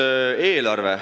Edasi, eelarve.